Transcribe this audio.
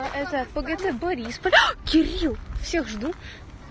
а это пгт борисполь кирилл всех жду